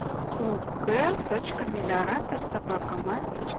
ук точка мелиоратор собака маил точка